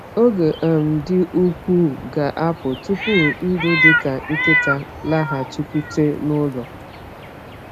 Oge um dị ukwuu ga-apụ tupu ndụ dị ka nkịtị laghachikwute n’ụlọ.